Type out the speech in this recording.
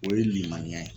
O ye limaniya ye